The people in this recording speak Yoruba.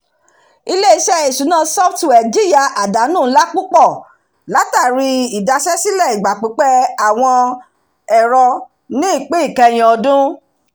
ilé-isé ìṣúná software jìyà àdánù ńlá púpọ̀ látàrí idaṣẹ́sílẹ̀ ìgbà pípẹ́ àwọn ẹ̀rọ ni ìpín ìkẹyìn ọdún